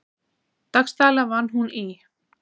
Dagsdaglega vann hún í